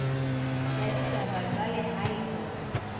la ditaba tsa lehae hore